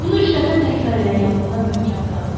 Bunu üç dəfə təkrar elə, yadında möhkəm qalsın.